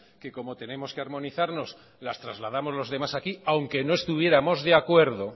que como tenemos que armonizarnos las trasladamos los demás aquí aunque no estuviéramos de acuerdo